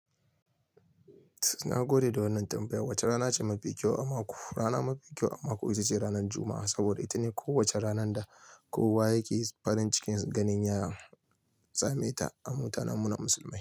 Na gode da wannan tambaya. Wace rana ce mafi kyau a mako? Rana mafi kyau a mako ita ce ranar Juma'a, saboda ita ne kowace ranar da kowa yake farin cikin ganin ya sameta a mutanenmu na musulmai.